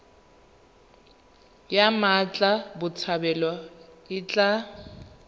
ya mmatla botshabelo e tla